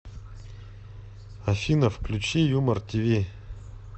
афина включи юмор ти ви